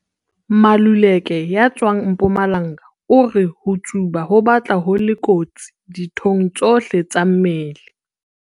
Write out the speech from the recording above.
Maluleke ya tswang Mpumalanga o re ho tsuba ho batla ho le kotsi dithong tsohle tsa mmele.